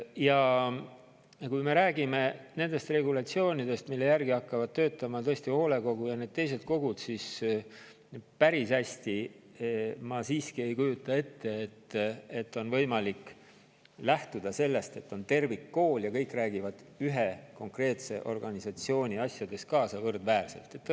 Ja kui me räägime nendest regulatsioonidest, mille järgi hakkavad tõesti töötama hoolekogu ja teised kogud, siis päris hästi ma siiski ei kujuta ette, et on võimalik lähtuda sellest, et on tervikkool ja kõik räägivad ühe konkreetse organisatsiooni asjades võrdväärselt kaasa.